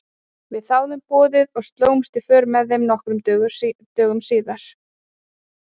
Við þáðum boðið og slógumst í för með þeim nokkrum dögum síðar.